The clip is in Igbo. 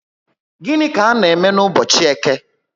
Gịnị ka a n'eme n'ubochi Eke?